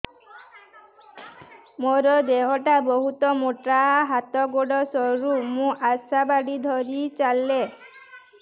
ମୋର ଦେହ ଟା ବହୁତ ମୋଟା ହାତ ଗୋଡ଼ ସରୁ ମୁ ଆଶା ବାଡ଼ି ଧରି ଚାଲେ